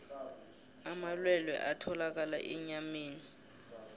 amalwelwe atholakala enyameni